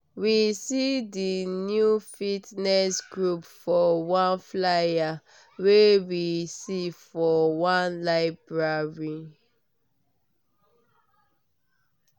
we see di new fitness group for one flyer wey we see for one public library